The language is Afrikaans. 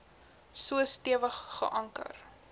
so stewig geanker